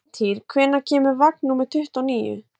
Bryntýr, hvenær kemur vagn númer tuttugu og níu?